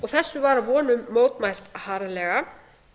þessu var að vonum mótmælt harðlega